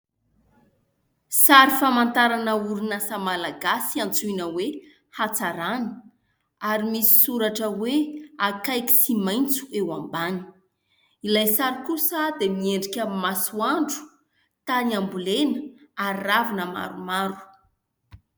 Sary famantarana orinasa malagasy antsoina hoe "Hatsarana" ary misy soratra hoe "Akaiky sy maitso" eo ambany. Ilay sary kosa dia miendrika masoandro, tany ambolena ary ravina maromaro.